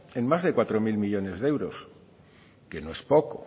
en más de cuatro mil millónes de euros que no es poco